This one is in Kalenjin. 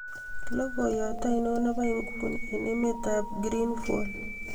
logoiyot ainon nebo inguni en emeet ab greenvolle